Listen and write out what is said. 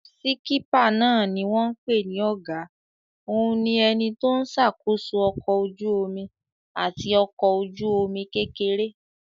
Síkípà náà ni wọ́n n pè ní ọ̀gá òun ni ẹni tó n ṣàkóso ọkọ̀ ojú-omi àti ọkọ̀ ojú-omi kékeré